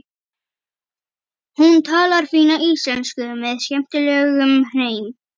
Hún talar fína íslensku með skemmtilegum hreim.